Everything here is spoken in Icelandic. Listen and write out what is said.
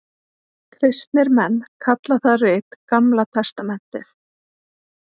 Kristnir menn kalla það rit Gamla testamentið.